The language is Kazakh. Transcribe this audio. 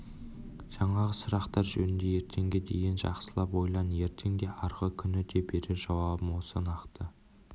жаңағы сұрақтар жөнінде ертеңге дейін жақсылап ойлан ертең де арғы күні де берер жауабым осы нақты